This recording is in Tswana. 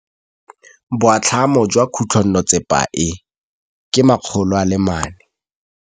Boatlhamô jwa khutlonnetsepa e, ke 400.